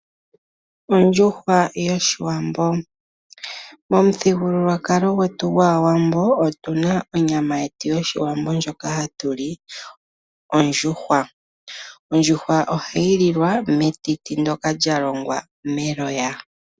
Ondjuhwa yOshiwambo. Momuthigululwakalo gwetu gwAawambo otuna onyama yetu yOshiwambo ndjoka hatu li hayi ithanwa ondjuhwa. Ondjuhwa ohayi lilwa metiti ndyoka lyalongwa meloya.